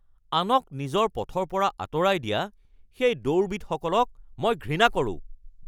আনক নিজৰ পথৰ পৰা আঁতৰাই দিয়া সেই দৌৰবিদসকলক মই ঘৃণা কৰোঁ